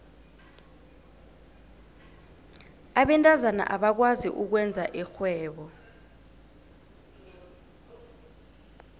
abentazana abakwazi ukwenza irhwebo